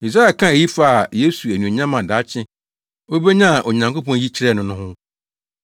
Yesaia kaa eyi faa Yesu anuonyam a daakye obenya a Onyankopɔn yi kyerɛɛ no no ho.